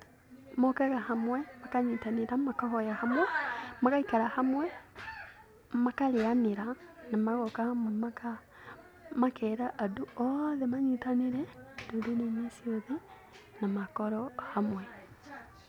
Mokaga hamwe makanyitanĩra ,makahoya hamwe, magaikara hamwe, makarĩanĩra na magooka hamwe makeera andũ othe manyitanĩre ndũrĩrĩ-inĩ ciothe na makorwo hamwe.